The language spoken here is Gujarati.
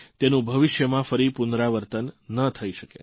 તેનું ભવિષ્યમાં ફરી પુનરાવર્તન ન થઇ શકે